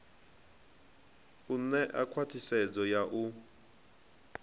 u ṋea khwathisedzo ya u